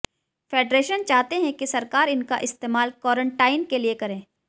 federation चाहते हैं कि सरकार इनका इस्तेमाल कोरेंटाईन के लिए करे